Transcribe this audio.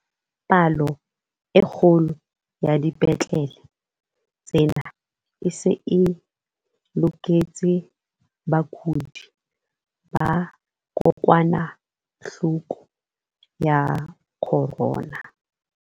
Palo e kgolo ya dipetlele tsena e se e loketse bakudi ba kokwanahloko ya corona.